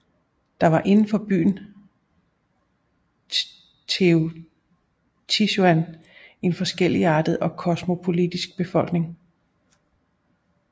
Der var inden for byen Teotihuacan en forskelligartet og kosmopolitisk befolkning